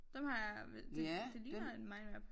Dem har jeg det det ligner et mindmap